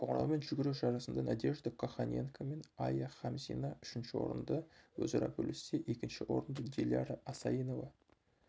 қоңыраумен жүгіру жарысында надежда коханенко мен айя хамзина үшінші орынды өзара бөліссе екінші орынды диляра асаинова